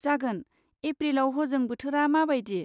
जागोन, एप्रिलाव हजों बोथोरा माबायदि?